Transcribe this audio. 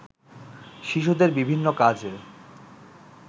শিশুদের বিভিন্ন কাজে